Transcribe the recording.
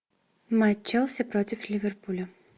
матч челси против ливерпуля